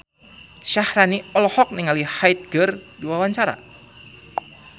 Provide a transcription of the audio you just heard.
Syaharani olohok ningali Hyde keur diwawancara